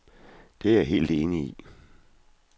Det er jeg helt enig i.